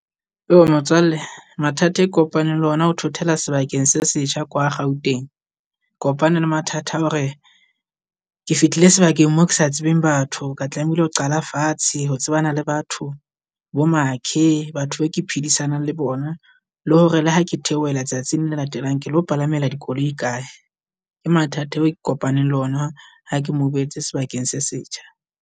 Motswalle mathata e kopane le ona o thothela sebakeng se setjha kwa Gauteng, kopane le mathata a hore ke fitlhile sebakeng mo ke sa tsebeng batho. Ka tlamehile ho qala fatshe ho tsebana le batho bo makhe, batho ba ke phedisanang le bona le hore le ha ke theohela tsatsing la le latelang ke lo palamela dikoloi di kae. Ke mathata eo kopaneng le ona ha ke move-etse sebakeng se setjha.